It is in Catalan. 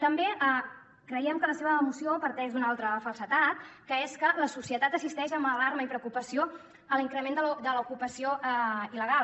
també creiem que la seva moció parteix d’una altra falsedat que és que la societat assisteix amb alarma i preocupació a l’increment de l’ocupació il·legal